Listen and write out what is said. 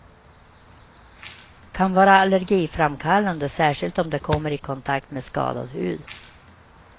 Kan vara allergiframkallande, särskilt om det kommer i kontakt med skadad hud.